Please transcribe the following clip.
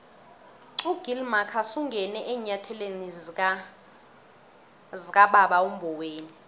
ugill marcus ungene eenyathelweni zikababa umboweni